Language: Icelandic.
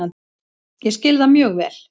Ég skil það mjög vel